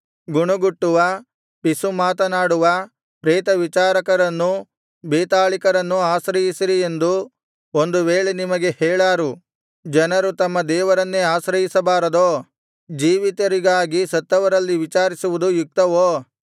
ಗುಣಗುಟ್ಟುವ ಪಿಸುಮಾತನಾಡುವ ಪ್ರೇತವಿಚಾರಕರನ್ನೂ ಬೇತಾಳಿಕರನ್ನೂ ಆಶ್ರಯಿಸಿರಿ ಎಂದು ಒಂದು ವೇಳೆ ನಿಮಗೆ ಹೇಳಾರು ಜನರು ತಮ್ಮ ದೇವರನ್ನೇ ಆಶ್ರಯಿಸಬಾರದೋ ಜೀವಿತರಿಗಾಗಿ ಸತ್ತವರಲ್ಲಿ ವಿಚಾರಿಸುವುದು ಯುಕ್ತವೋ